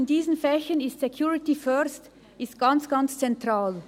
In diesen Fächern ist «Security first» ganz, ganz zentral.